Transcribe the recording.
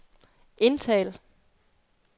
indtal